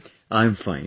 How are you doing